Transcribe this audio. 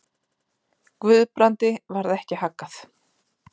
Guðbrandi varð ekki haggað.